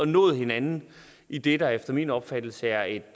nået hinanden i det der efter min opfattelse er et